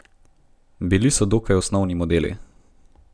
Bili so dokaj osnovni modeli.